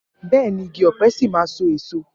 Bẹẹni, igi ọ̀pẹ ṣì máa so èso.